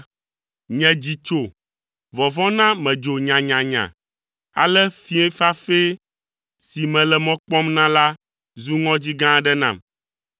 Nye dzi tso, vɔvɔ̃ na medzo nyanyanya. Ale fiẽ fafɛ si mele mɔ kpɔm na la zu ŋɔdzi gã aɖe nam.